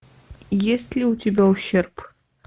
есть ли у тебя ущерб